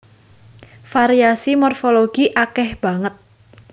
Variasi morfologi akèh banget